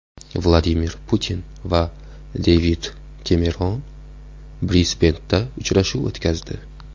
Vladimir Putin va Devid Kemeron Brisbenda uchrashuv o‘tkazdi.